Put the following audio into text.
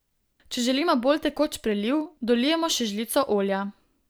Če želimo bolj tekoč preliv, dolijemo še žlico olja.